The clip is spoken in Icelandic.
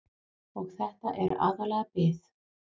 Og þetta er aðallega bið.